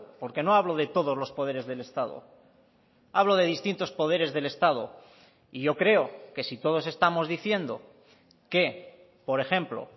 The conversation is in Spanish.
porque no hablo de todos los poderes del estado hablo de distintos poderes del estado y yo creo que si todos estamos diciendo que por ejemplo